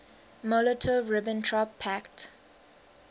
molotov ribbentrop pact